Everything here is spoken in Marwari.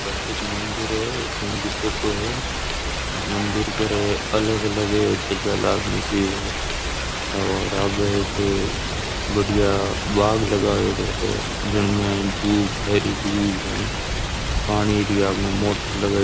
प्रसिद्ध मंदिर है उनकी फोटो है मंदिर पर अलग अलग ध्वजा लाग मेलि है और आगे एक बढ़िया बाग़ लगाएड़ा है जिमे धुप है दूब है पानी री आपने मोटर लगाईड़ी।